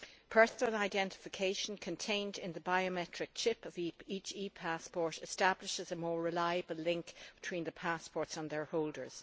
Personal identification contained in the biometric chip of each e passport establishes a more reliable link between the passport and its holder.